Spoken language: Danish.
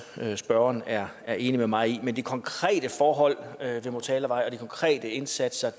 at spørgeren er er enig med mig i men de konkrete forhold ved motalavej og de konkrete indsatser